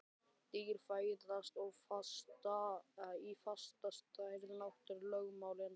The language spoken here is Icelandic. Dýr fæðast í fasta stærð: náttúrulögmálin.